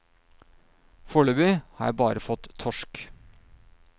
Foreløpig har jeg bare fått torsk.